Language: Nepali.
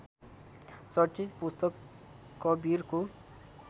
चर्चित पुस्तक कवीरको